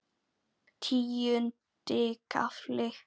Tíundi kafli